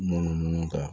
Munumunu kan